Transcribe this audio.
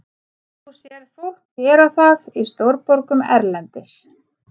Þú sérð fólk gera það í stórborgum erlendis.